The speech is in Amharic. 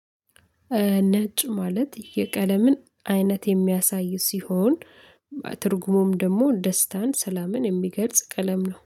ነጭ ማለት የቀለምን አይነት የሚያሳይ ሲሆን፤ ትርጉሙም ደግሞ ደስታን፣ ሰላምን የሚገልጽ ቀለም ነው።